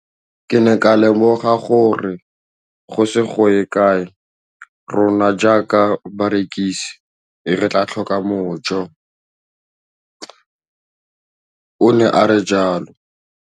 Ke ne ka lemoga gore go ise go ye kae rona jaaka barekise re tla tlhoka mojo, o ne a re jalo.